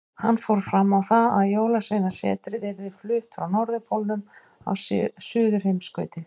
Hann fór fram á það að Jólasveinasetrið yrði flutt frá Norðurpólnum á Suðurheimskautið.